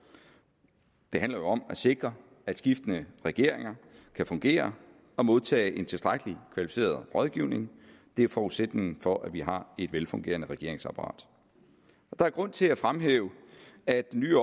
det handler jo om at sikre at skiftende regeringer kan fungere og modtage en tilstrækkelig kvalificeret rådgivning det er forudsætningen for at vi har et velfungerende regeringsapparat der er grund til at fremhæve at den